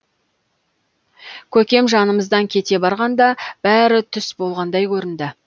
көкем жанымыздан кете барғанда бәрі түс болғандай көрінді